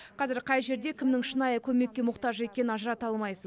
қазір қай жерде кімнің шынайы көмекке мұқтаж екенін ажырата алмайсың